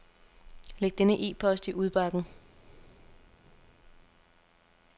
Læg denne e-post i udbakken.